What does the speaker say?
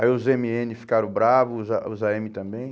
Aí os eme ene ficaram bravos, os á os á eme também.